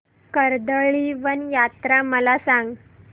कर्दळीवन यात्रा मला सांग